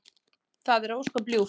Það er ósköp ljúft.